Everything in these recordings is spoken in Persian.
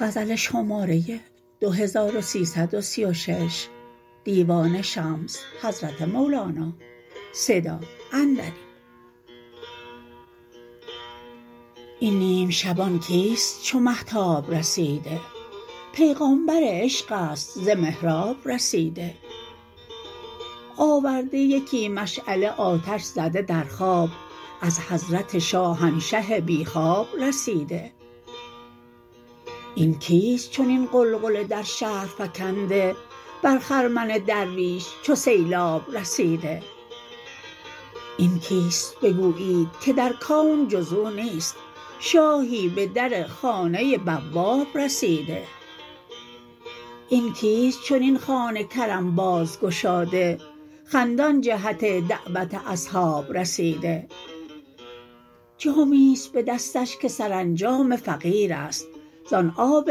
این نیم شبان کیست چو مهتاب رسیده پیغمبر عشق است ز محراب رسیده آورده یکی مشعله آتش زده در خواب از حضرت شاهنشه بی خواب رسیده این کیست چنین غلغله در شهر فکنده بر خرمن درویش چو سیلاب رسیده این کیست بگویید که در کون جز او نیست شاهی به در خانه بواب رسیده این کیست چنین خوان کرم باز گشاده خندان جهت دعوت اصحاب رسیده جامی است به دستش که سرانجام فقیر است زان آب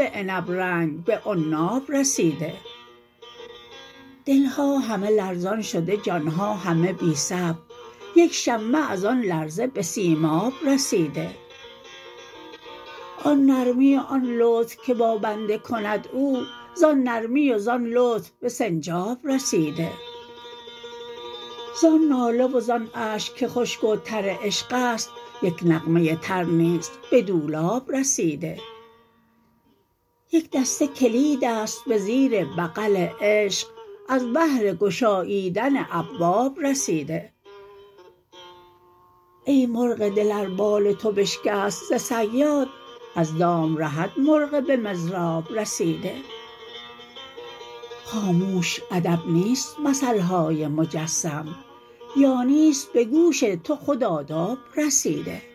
عنب رنگ به عناب رسیده دل ها همه لرزان شده جان ها همه بی صبر یک شمه از آن لرزه به سیماب رسیده آن نرمی و آن لطف که با بنده کند او زان نرمی و زان لطف به سنجاب رسیده زان ناله و زان اشک که خشک و تر عشق است یک نغمه تر نیز به دولاب رسیده یک دسته کلید است به زیر بغل عشق از بهر گشاییدن ابواب رسیده ای مرغ دل ار بال تو بشکست ز صیاد از دام رهد مرغ به مضراب رسیده خاموش ادب نیست مثل های مجسم یا نیست به گوش تو خود آداب رسیده